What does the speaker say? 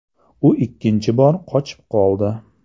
U ikkinchi bor qochib qoldi.